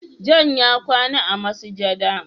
"John" ya kwana a masujada.